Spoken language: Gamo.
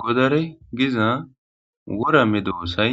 Godare giza worame doossay